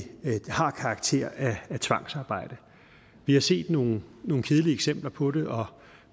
har karakter af tvangsarbejde vi har set nogle nogle kedelige eksempler på det og